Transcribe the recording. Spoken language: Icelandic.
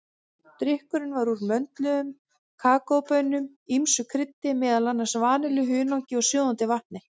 Drykkurinn var úr möluðum kakóbaunum, ýmsu kryddi, meðal annars vanillu, hunangi og sjóðandi vatni.